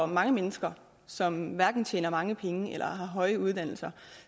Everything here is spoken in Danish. mange mennesker som hverken tjener mange penge eller har høje uddannelser